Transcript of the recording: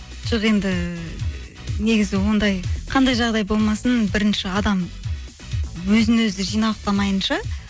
жоқ енді негізі ондай қандай жағдай болмасын бірінші адам өзін өзі жинақтамайынша